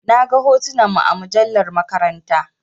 Na gan hotunan mu a mujallar maƙaranta.